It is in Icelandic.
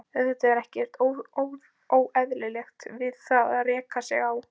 Auðvitað er ekkert óeðlilegt við það að reka sig á.